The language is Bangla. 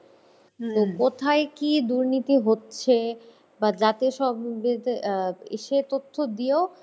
তো কোথায় কী দুর্নীতি হচ্ছে বা জাতীয় Babble ইসে তথ্য দিয়েও